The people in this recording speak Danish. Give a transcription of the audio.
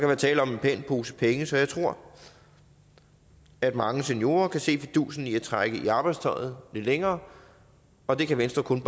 være tale om en pæn pose penge så jeg tror at mange seniorer kan se fidusen i at trække i arbejdstøjet lidt længere og det kan venstre kun